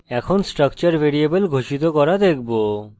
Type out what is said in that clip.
এখন structure variable ঘোষিত করা দেখব